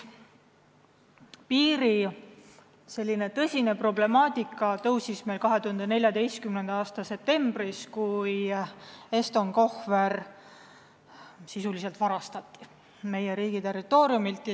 Piiriproblemaatika tõusis meil tõsisemalt kõne alla 2014. aasta septembris, kui Eston Kohver sisuliselt varastati meie riigi territooriumilt.